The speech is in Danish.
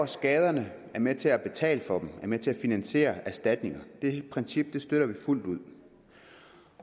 skaderne er med til at betale for dem er med til at finansiere erstatninger det princip støtter vi fuldt ud